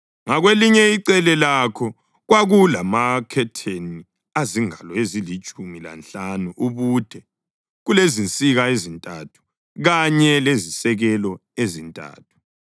ngakwelinye icele lakho kwakulamakhetheni azingalo ezilitshumi lanhlanu ubude, kulezinsika ezintathu kanye lezisekelo ezintathu.